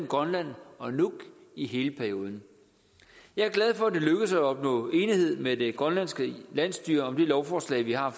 grønland og nuuk i hele perioden jeg er glad for at det er lykkedes at opnå enighed med det grønlandske landsstyre om det lovforslag vi har